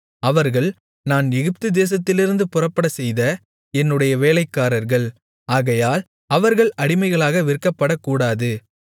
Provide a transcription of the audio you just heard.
அவர்கள் நான் எகிப்துதேசத்திலிருந்து புறப்படச்செய்த என்னுடைய வேலைக்காரர்கள் ஆகையால் அவர்கள் அடிமைகளாக விற்கப்படக்கூடாது